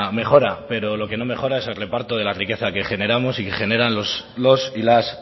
mejora pero lo que no mejora es el reparto de la riqueza que generamos y que generan los y las